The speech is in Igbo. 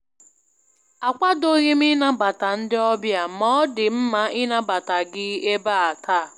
Akwadoghị m ịnabata ndị ọbịa, ma ọ dị mma inabata gị ebe a taa.